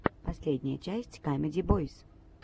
последняя часть камеди бойс